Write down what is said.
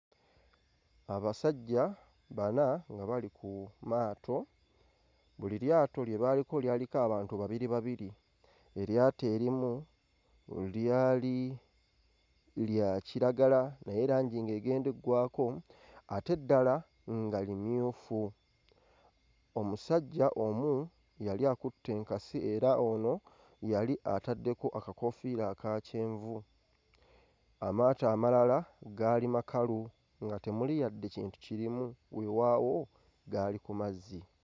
Abasajja bana nga bali ku maato, buli lyato lye baaliko lyaliko abantu babiri babiri. Eryato erimu lyali lya kiragala naye langi ng'egenda eggwaako ate eddala nga limyufu. Omusajja omu yali akutte enkasi era ono yali ataddeko akakoofiira aka kyenvu, amaato amalala gaali makalu nga tumuli yadde kintu kirimu, weewaawo gaali ku mazzi.